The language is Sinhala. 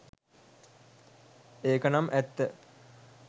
ඒක නම් ඇත්ත